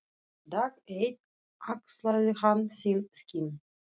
Dag einn axlaði hann sín skinn.